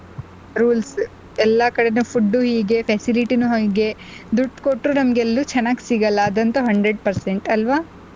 rules ಎಲ್ಲ ಕಡೆನೂ food ಹೀಗೆ facility ನೂ ಹೀಗೆ ದುಡ್ಡು ಕೊಟ್ರು ನಮ್ಗ್ ಎಲ್ಲೂ ಚೆನ್ನಾಗ್ ಸಿಗಲ್ಲ ಅದಂತೂ Hundred percent ಅಲ್ವಾ.